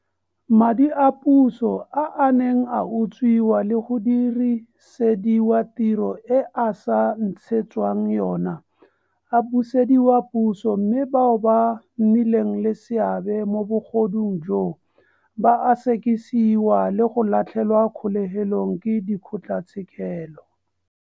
Madi a puso a a neng a utswiwa le go dirisediwa tiro e a sa ntshetswang yona a busediwa puso mme bao ba nnileng le seabe mo bogodung joo ba a sekisiwa le go latlhelwa kgolegelong ke dikgotlatshekelo.